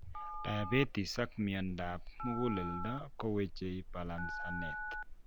Diabetes ak miondab muguleldo koweche balancenet